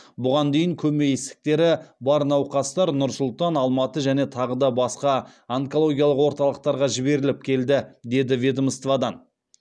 бұған дейін көмей ісіктері бар науқастар нұр сұлтан алматы және тағы басқа онкологиялық орталықтарға жіберіліп келді деді ведомстводан